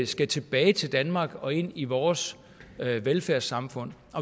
skal tilbage til danmark og ind i vores velfærdssamfund